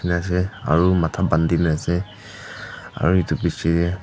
aru matha bandina ase aru etu pichatey.